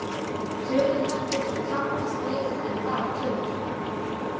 Tölurnar geta svo táknað fleira en bara tölur.